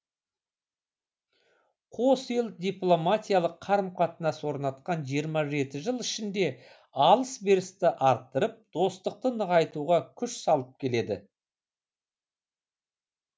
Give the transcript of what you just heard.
қос ел дипломатиялық қарым қатынас орнатқан жиырма жеті жыл ішінде алыс берісті арттырып достықты нығайтуға күш салып келеді